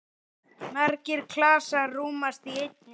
Margir klasar rúmast í einni.